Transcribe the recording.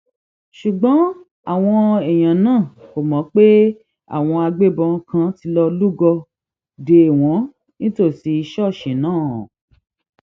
ṣùgbọn àwọn èèyàn náà kò mọ pé àwọn agbébọn kan ti lọọ lúgọ dè wọn nítòsí ṣọọṣì náà